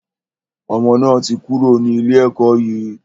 Ọmọ náà ti kúrò ní ilé ẹkọ́ yìí.